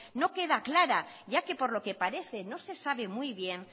no queda clara ya que por lo que parece no se sabe muy bien